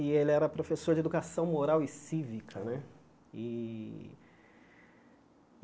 E ele era professor de educação moral e cívica né e.